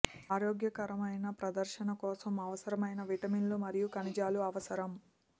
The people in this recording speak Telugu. ఆరోగ్యకరమైన ప్రదర్శన కోసం అవసరమైన విటమిన్లు మరియు ఖనిజాలు అవసరం